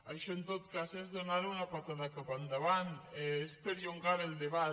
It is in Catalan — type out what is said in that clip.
això en tot cas és donar una puntada cap endavant és perllongar el debat